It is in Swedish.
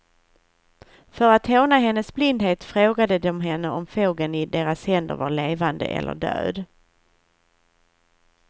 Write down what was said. För att håna hennes blindhet frågade de henne om fågeln i deras händer var levande eller död.